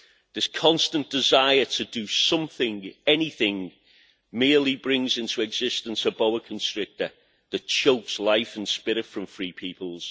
This constant desire to do something, anything, merely brings into existence a boa constrictor that chokes life and spirit from free peoples.